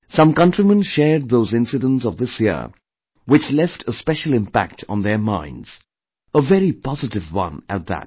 Some countrymen shared those incidents of this year which left a special impact on their minds, a very positive one at that